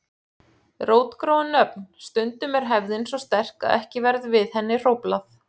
Rótgróin nöfn Stundum er hefðin svo sterk að ekki verður við henni hróflað.